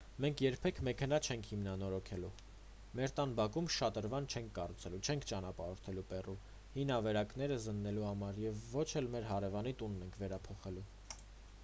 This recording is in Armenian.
մենք երբեք մեքենա չենք հիմնանորոգելու մեր տան բակում շատրվան չենք կառուցելու չենք ճանապարհորդելու պերու հին ավերակները զննելու համար և ոչ էլ մեր հարևանի տունն ենք վերափոխելու